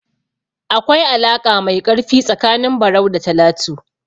Akwai alaƙa mai ƙarfi tsakanin Barau da Talatu.